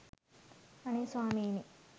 අනේ ස්වාමීනී